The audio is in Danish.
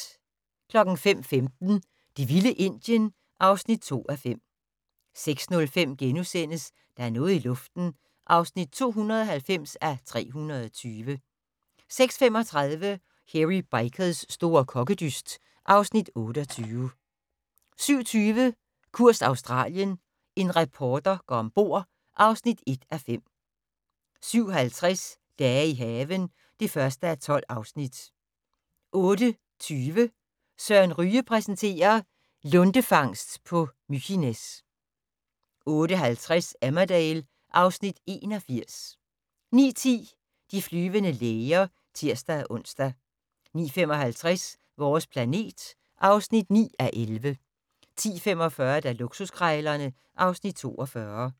05:15: Det vilde Indien (2:5) 06:05: Der er noget i luften (290:320)* 06:35: Hairy Bikers' store kokkedyst (Afs. 28) 07:20: Kurs Australien - en reporter går om bord (1:5) 07:50: Dage i haven (1:12) 08:20: Søren Ryge præsenterer: Lundefangst på Mykines 08:50: Emmerdale (Afs. 81) 09:10: De flyvende læger (tir-ons) 09:55: Vores planet (9:11) 10:45: Luksuskrejlerne (Afs. 42)